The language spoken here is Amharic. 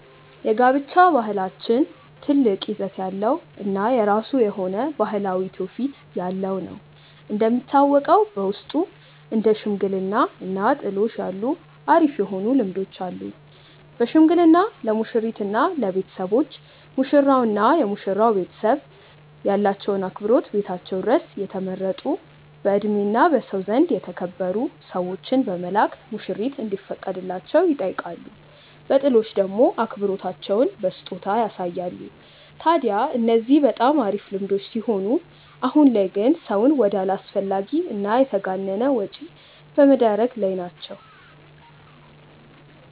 የጋብቻ ባህላችን ትልቅ ይዘት ያለው እና የራሱ የሆነ ባህላዊ ትውፊት ያለው ነው። እንደሚታወቀው በውስጡ እንደ ሽምግልና እና ጥሎሽ ያሉ አሪፍ የሆኑ ልምዶች አሉን። በሽምግልና ለሙሽሪት እና ለቤተሰቦች፤ ሙሽራው እና የመሽራው ቤተሰብ ያላቸውን አክብሮት ቤታቸው ድረስ የተመረጡ በእድሜ እና በሰው ዘንድ የተከበሩ ሰዎችን በመላክ ሙሽሪት እንዲፈቀድላቸው ይጠይቃሉ። በጥሎሽ ደሞ አክብሮታቸውን በስጦታ ያሳያሉ። ታድያ እነዚህ በጣም አሪፍ ልምዶች ሲሆኑ አሁን ላይ ግን ሰውን ወደ አላስፈላጊ እና የተጋነነ ወጪ ላይ በመደረግ ላይ ናቸው።